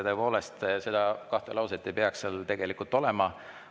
Tõepoolest, neid kahte lauset ei peaks seal tegelikult olema.